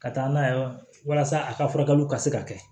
Ka taa n'a ye walasa a ka furakɛliw ka se ka kɛ